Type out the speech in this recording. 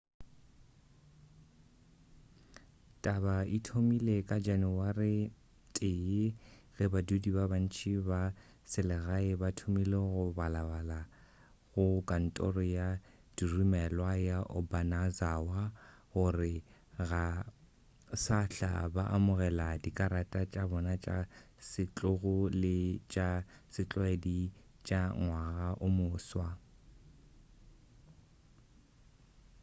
taba e thomile ka janawari 1 ge badudi ba bantši ba selegae ba thomile go balabalela go kantoro ya diromelwa ya obanazawa gore ga sahla ba amogela dikarata tša bona tša setlogo le tša setlwaedi tša ngwaga o moswa